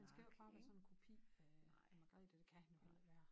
Han skal jo ikke bare være sådan en kopi af Margrethe og det kan han jo heller ikke være